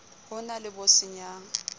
ho na le bo senyang